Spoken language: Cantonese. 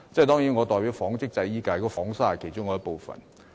當然，我代表紡織及製衣界別，紡紗是其中一部分。